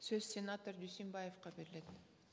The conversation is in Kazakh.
сөз сенатор дүйсенбаевқа беріледі